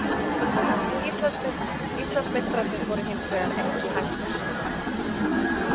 Íslandsmeistararnir voru hins vegar ekki hættar.